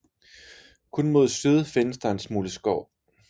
Kun mod syd findes der en smule skov